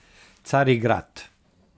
Carigrad.